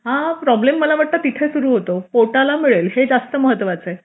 हा प्रॉब्लेम मला वाटतं तिथे सुरू होतो पोटाला मिळेल हे जास्त महत्त्वाचे